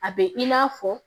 A bɛ i n'a fɔ